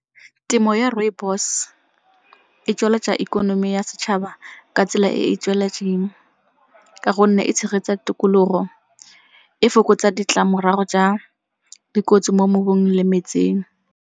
Temo ya rooibos e tsweletsa ikonomi ya setšhaba ka tsela e e tsweletseng ka gonne e tshegetsa tikologo, e fokotsa ditlamorago tsa dikotsi mo mobung le metseng.